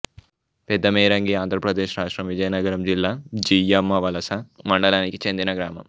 పెదమేరంగి ఆంధ్ర ప్రదేశ్ రాష్ట్రం విజయనగరం జిల్లా జియ్యమ్మవలస మండలానికి చెందిన గ్రామం